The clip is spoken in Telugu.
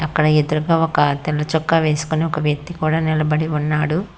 అక్కడ ఎదురుగా ఒక తెల్ల చొక్క వేసుకొని ఒక వ్యక్తి కూడా నిలబడి ఉన్నాడు.